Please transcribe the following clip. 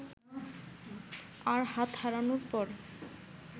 আর হাত হারানোর পর